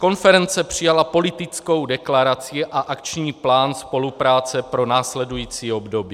Konference přijala politickou deklaraci a akční plán spolupráce pro následující období.